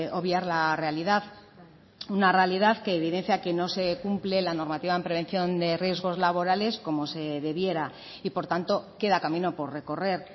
obviar la realidad una realidad que evidencia que no se cumple la normativa en prevención de riesgos laborales como se debiera y por tanto queda camino por recorrer